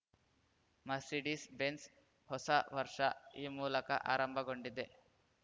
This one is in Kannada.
ಮರ್ಸಿಡಿಸ್‌ಬೆಂಝ್‌ ಹೊಸ ವರ್ಷ ಈ ಮೂಲಕ ಆರಂಭಗೊಂಡಿದೆ